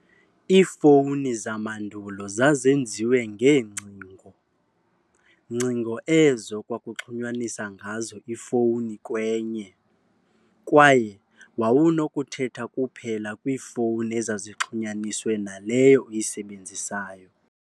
Iifowuni zamandulo zazenziwe ngeengcingo, ngcingo ezo kwakuxhunyaniswa ngazo ifowuni kwenye, kwaye wawunokuthetha kuphela kwiifowuni ezazixhunyaniswe naleyo uyisebenzisayo.